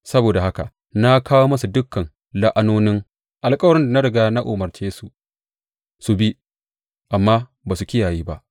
Saboda haka na kawo musu dukan la’anonin alkawarin da na riga na umarce su, su bi amma ba su kiyaye ba.’